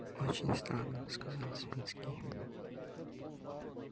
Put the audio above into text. очень странно сказал савицкий